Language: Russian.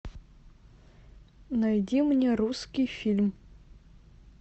найди мне русский фильм